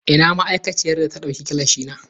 Ina ma'aikaciyar da ta dauki gilashina?